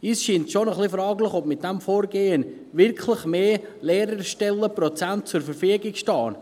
Uns scheint es ein bisschen fraglich, ob mit diesem Vorgehen wirklich mehr Lehrerstellenprozente zur Verfügung stehen.